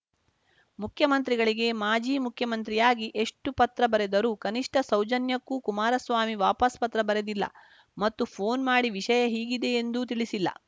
ಮುಖ್ಯಮಂತ್ರಿಗಳಿಗೆ ಮಾಜಿ ಮುಖ್ಯಮಂತ್ರಿಯಾಗಿ ಎಷ್ಟುಪತ್ರ ಬರೆದರೂ ಕನಿಷ್ಠ ಸೌಜನ್ಯಕ್ಕೂ ಕುಮಾರಸ್ವಾಮಿ ವಾಪಸ್‌ ಪತ್ರ ಬರೆದಿಲ್ಲ ಮತ್ತು ಫೋನ್‌ ಮಾಡಿ ವಿಷಯ ಹೀಗಿದೆ ಎಂದು ತಿಳಿಸಿಲ್ಲ